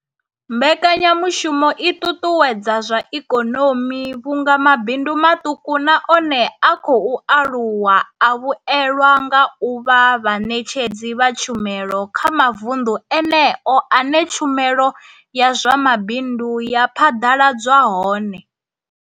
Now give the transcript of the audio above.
Mbekanya mushumo i ṱuṱuwedza zwa ikonomi vhunga mabindu maṱuku na one a khou aluwa a vhuelwa nga u vha vhaṋetshedzi vha tshumelo kha mavundu eneyo ane tshumelo ya zwa mabindu ya phaḓaladzwa hone.